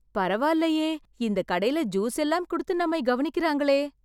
பரவால்லயே.... இந்த கடைல ஜூஸ் எல்லாம் குடுத்து நம்மை கவனிக்கறாங்களே...